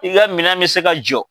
I ka minɛn bɛ se ka jɔ.